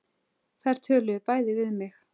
Þau töluðu bæði við mig.